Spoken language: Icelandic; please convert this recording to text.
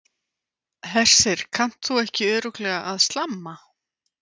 Hersir, kannt þú ekki örugglega að slamma?